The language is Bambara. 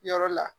Yɔrɔ la